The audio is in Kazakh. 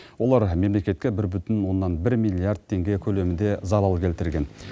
олар мемлекетке бір бүтін оннан бір миллиард теңге көлемінде залал келтірген